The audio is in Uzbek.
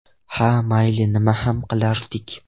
Ha, mayli, nima ham qilardik.